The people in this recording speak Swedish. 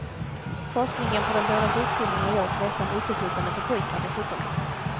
Forskningen på de båda sjukdomarna görs nästan uteslutande på pojkar, dessutom.